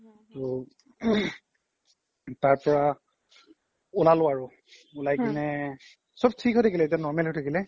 তো তাৰ পৰা উলালো আৰু উলাই কিনে চ্'ব থিক হৈ থাকিলে এতিয়া normal হয় থাকিলে